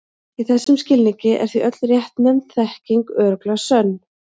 Í þessum skilningi er því öll réttnefnd þekking örugglega sönn.